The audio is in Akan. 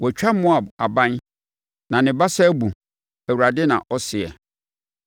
Wɔatwa Moab abɛn; na ne basa abu,” Awurade na ɔseɛ.